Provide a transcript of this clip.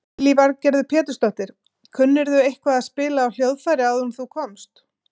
Lillý Valgerður Pétursdóttir: Kunnirðu eitthvað að spila á hljóðfæri áður en þú komst?